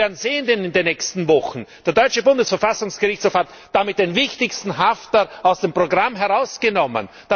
Sie werden in den nächsten Wochen sehen, der deutsche Bundesverfassungsgerichtshof hat damit den wichtigsten Hafter aus dem Programm herausgenommen.